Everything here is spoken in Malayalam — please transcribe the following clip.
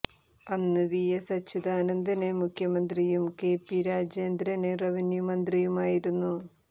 അന്ന് വി എസ് അച്യുതാനന്ദന് മുഖ്യമന്ത്രിയും കെ പി രാജേന്ദ്രന് റവന്യൂ മന്ത്രിയുമായിരുന്നു